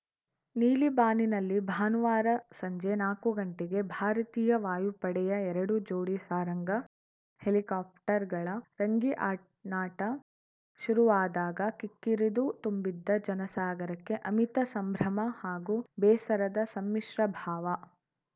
ನೀಲಿ ಬಾನಿನಲ್ಲಿ ಭಾನುವಾರ ಸಂಜೆ ನಾಕು ಗಂಟೆಗೆ ಭಾರತೀಯ ವಾಯುಪಡೆಯ ಎರಡು ಜೋಡಿ ಸಾರಂಗ ಹೆಲಿಕಾಪ್ಟರ್‌ಗಳ ರಂಗಿ ಆ ನಾಟ ಶುರುವಾದಾಗ ಕಿಕ್ಕಿರಿದು ತುಂಬಿದ್ದ ಜನಸಾಗರಕ್ಕೆ ಅಮಿತ ಸಂಭ್ರಮ ಹಾಗೂ ಬೇಸರದ ಸಮ್ಮಿಶ್ರ ಭಾವ